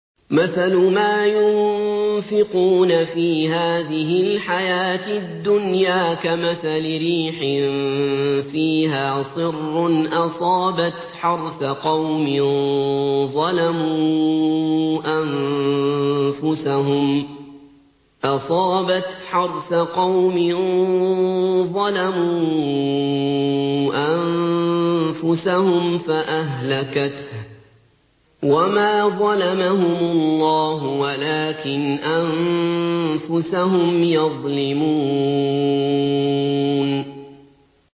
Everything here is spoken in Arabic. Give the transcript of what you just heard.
مَثَلُ مَا يُنفِقُونَ فِي هَٰذِهِ الْحَيَاةِ الدُّنْيَا كَمَثَلِ رِيحٍ فِيهَا صِرٌّ أَصَابَتْ حَرْثَ قَوْمٍ ظَلَمُوا أَنفُسَهُمْ فَأَهْلَكَتْهُ ۚ وَمَا ظَلَمَهُمُ اللَّهُ وَلَٰكِنْ أَنفُسَهُمْ يَظْلِمُونَ